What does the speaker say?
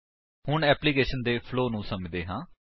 ਹੁਣ ਏਪਲਿਕੇਸ਼ਨ ਦੇ ਫਲੋ ਨੂੰ ਸੱਮਝਦੇ ਹਾਂ